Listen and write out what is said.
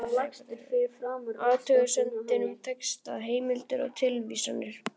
Athugasemdir um texta, heimildir og tilvísanir